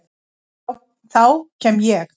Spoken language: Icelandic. Þá kem ég.